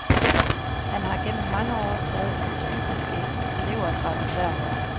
Han har gennem mange år taget en spiseske levertran hver morgen.